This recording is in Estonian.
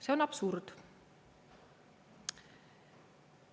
See on absurd!